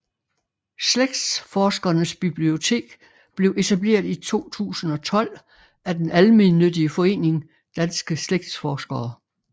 Slægtsforskernes Bibliotek blev etableret i 2012 af den almennyttige forening Danske Slægtsforskere